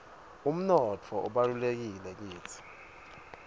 umnotfo ubalulekile kitsi